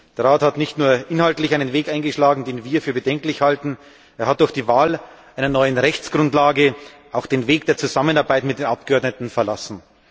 Denn der Rat hat nicht nur inhaltlich einen Weg eingeschlagen, den wir für bedenklich halten, er hat durch die Wahl einer neuen Rechtsgrundlage auch den Weg der Zusammenarbeit mit den Abgeordneten verlassen.